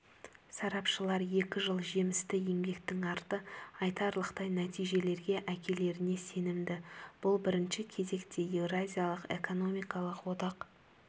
сарапшылар екі жыл жемісті еңбектің арты айтарлықтай нәтижелерге әкелеріне сенімді бұл бірінші кезекте еуразиялық экономикалық одақ